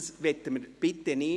Das wollen wir bitte nicht!